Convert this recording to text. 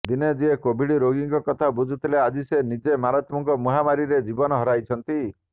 ଦିନେ ଯିଏ କୋଭିଡ ରୋଗୀଙ୍କ କଥା ବୁଝୁଥିଲେ ଆଜି ସେ ନିଜେ ମାରାତ୍ମକ ମହାମାରୀରେ ଜୀବନ ହରାଇଛନ୍ତି